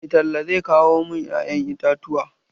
Mai talla zai kawo mun ƴa'yan itatuwa.